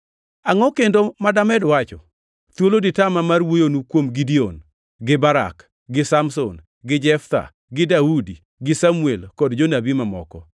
Angʼo kendo ma damed wacho? Thuolo ditama mar wuoyonu kuom Gideon, gi Barak, gi Samson, gi Jeftha, gi Daudi, gi Samuel, kod Jonabi mamoko.